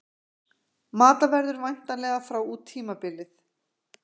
Mata verður væntanlega frá út tímabilið.